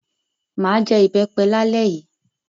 M á jẹ ìbẹ́pẹ lálẹ́ yìí.